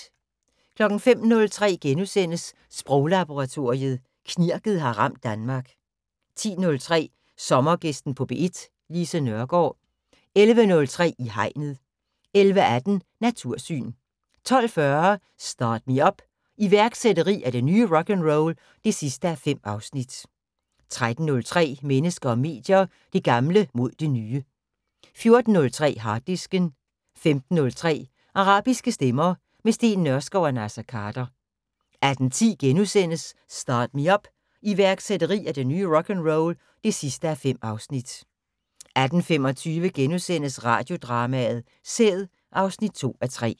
05:03: Sproglaboratoriet: Knirket har ramt Danmark * 10:03: Sommergæsten på P1: Lise Nørgaard 11:03: I Hegnet 11:18: Natursyn 12:40: Start Me Up - iværksætteri er det nye rock'n'roll (5:5) 13:03: Mennesker og medier: Det gamle mod det nye 14:03: Harddisken 15:03: Arabiske stemmer - med Steen Nørskov og Naser Khader 18:10: Start Me Up - iværksætteri er det nye rock'n'roll (5:5)* 18:25: Radiodrama: Sæd (2:3)*